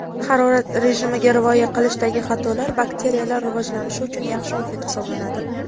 harorat rejimiga rioya qilishdagi xatolar bakteriyalar rivojlanishi uchun yaxshi muhit hisoblanadi.